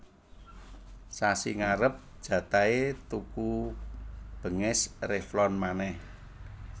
Sasi ngarep jatahe tuku benges Revlon maneh